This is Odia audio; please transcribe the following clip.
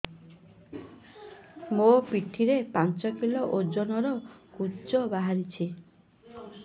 ମୋ ପିଠି ରେ ପାଞ୍ଚ କିଲୋ ଓଜନ ର କୁଜ ବାହାରିଛି